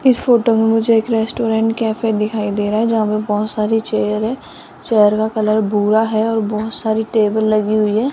इस फोटो में मुझे एक रेस्टोरेंट कैसे दिखाई दे रहा है जहां पर बहुत सारी चेयर है चेयर का कलर भूरा है और बहुत सारी टेबल लगी हुई है।